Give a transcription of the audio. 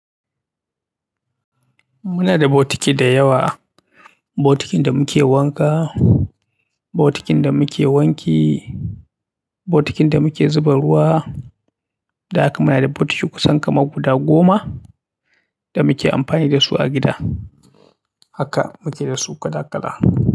Muna da bokiti da yawa. Bokitin da muke wanka, bokitin da muke wanki, bokitin da muke zuba ruwa. Da haka muna da bokiti kusan kama guda goma da muke amfani da su a gida. Haka muke da su kala-kala.